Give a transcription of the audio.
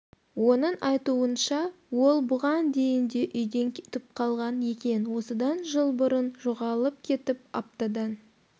оның айтуынша ол бұған дейін де үйден кетіп қалған екен осыдан жыл бұрын жоғалып кетіп аптадан